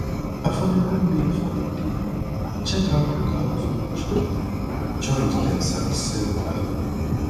affordable meal for the day check out local food joint joint them sabi serve well